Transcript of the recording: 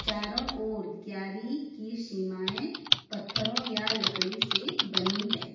चारों ओर क्यारी की सीमाएं पत्थरों या लकड़ी से बनी है।